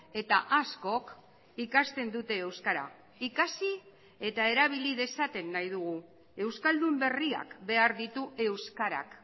eta askok ikasten dute euskara ikasi eta erabili dezaten nahi dugu euskaldun berriak behar ditu euskarak